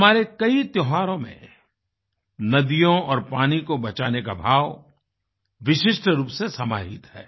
हमारे कई त्योहारों में नदियों और पानी को बचाने का भाव विशिष्ट रूप से समाहित है